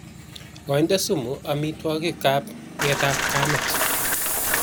Koinde sumu amitwokik ab nget ab kamet.